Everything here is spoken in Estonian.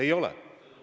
Ei ole!